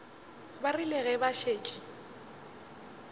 ba rile ge ba šetše